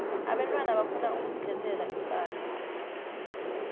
abentwana bafuna ukuzikhethela iimpahla